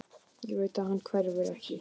Ég veit að hann hverfur ekki.